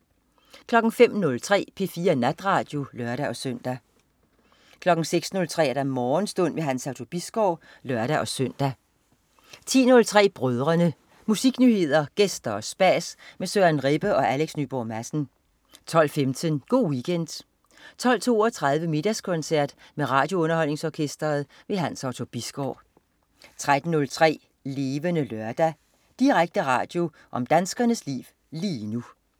05.03 P4 Natradio (lør-søn) 06.03 Morgenstund. Hans Otto Bisgaard (lør-søn) 10.03 Brødrene. Musiknyheder, gæster og spas med Søren Rebbe og Alex Nyborg Madsen 12.15 Go' Weekend 12.32 Middagskoncert med RadioUnderholdningsOrkestret. Hans Otto Bisgaard 13.03 Levende Lørdag. Direkte radio om danskernes liv lige nu